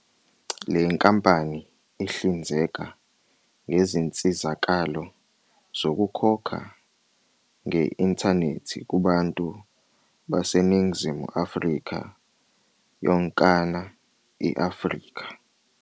Le nkampani ihlinzeka ngezinsizakalo zokukhokha nge-inthanethi kubantu baseNingizimu Afrika yonkana i-Afrika.